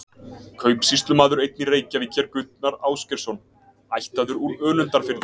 Kaupsýslumaður einn í Reykjavík hét Gunnar Ásgeirsson, ættaður úr Önundarfirði.